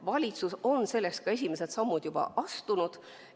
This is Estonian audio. Valitsus on selleks ka esimesed sammud juba astunud.